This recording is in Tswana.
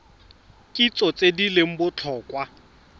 kitso tse di leng botlhokwa